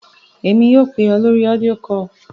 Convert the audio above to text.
Èmi yóò pè ọ́ lórí audio call.